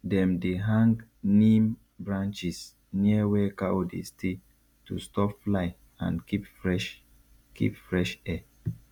dem dey hang neem branches near where cow dey stay to stop fly and keep fresh keep fresh air